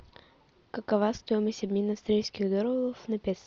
какова стоимость обмена австралийских долларов на песо